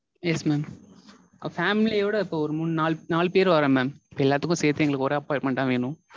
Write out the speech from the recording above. Yes mam. Family யோட இப்போ ஒரு நாலு பேர் வரோம் mam. எல்லாத்துக்கும் சேத்து எங்களுக்கு ஒரு appointment ஆ வேணும்.